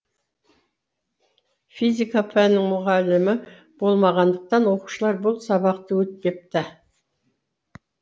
физика пәнінің мұғалімі болмағандықтан оқушылар бұл сабақты өтпепті